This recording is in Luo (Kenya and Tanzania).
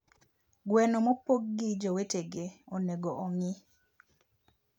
gweno mopog gi jowetege onego ongii